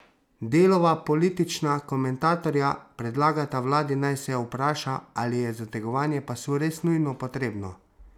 Delova politična komentatorja predlagata vladi, naj se vpraša, ali je zategovanje pasu res nujno potrebno?